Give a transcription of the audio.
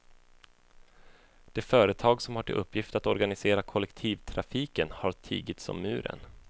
Det företag som har till uppgift att organisera kollektivtrafiken har tigit som muren.